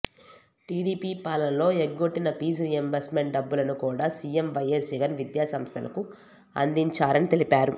TDP పాలనలో ఎగ్గొట్టిన fee reimbursement డబ్బులను కూడా సీఎం వైఎస్ జగన్ విద్యాసంస్థలకు అందించారని తెలిపారు